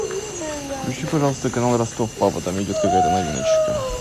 включи пожалуйста канал ростов папа там идет какая то новиночка